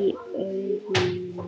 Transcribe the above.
Í auganu